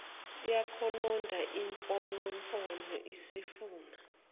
yakhononda imfonomfono isifuna